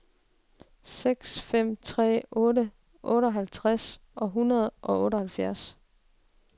seks fem tre otte otteoghalvtreds et hundrede og otteoghalvfjerds